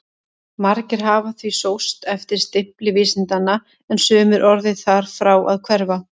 Margir hafa því sóst eftir stimpli vísindanna en sumir orðið þar frá að hverfa.